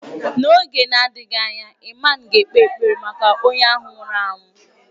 N’oge na-adịghị anya, ịman ga-ekpe ekpere maka onye ahụ nwụrụ anwụ.